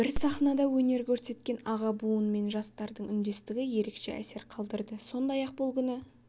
бір сахнада өнер көрсеткен аға буын мен жастардың үндестігі ерекше әсер қалдырды сондай-ақ бұл күні